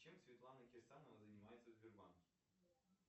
чем светлана кирсанова занимается в сбербанке